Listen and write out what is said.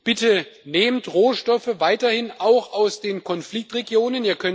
Bitte nehmt Rohstoffe weiterhin auch aus den Konfliktregionen!